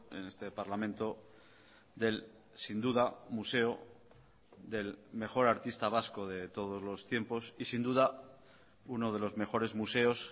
en este parlamento del sin duda museo del mejor artista vasco de todos los tiempos y sin duda uno de los mejores museos